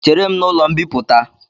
Chere m n’ụlọ mbịpụta